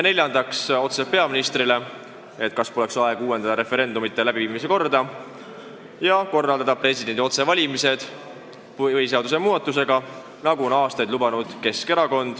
Neljandaks küsime peaministrilt, kas pole aeg uuendada referendumite läbiviimise korda ja korraldada põhiseadust muutes presidendi otsevalimised, nagu Keskerakond on aastaid lubanud.